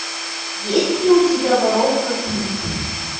есть ли у тебя воровка книг